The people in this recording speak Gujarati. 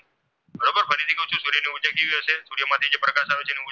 પ્રકાશ આવે છે